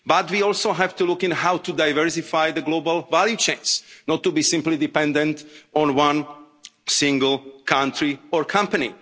But we also have to look at how to diversify globally and not be simply dependent on one single country or company.